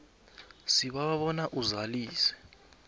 sibawa bona uzalise